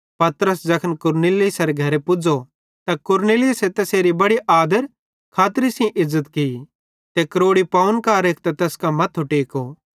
पतरस ज़ैखन कुरनेलियुसेरे घरे पुज़ो त कुरनेलियुसे तैसेरी बड़ी आदर खातरी सेइं इज़्ज़त की ते क्रोड़ी पव्वन कां रेखतां तैस कां मथ्थो टेको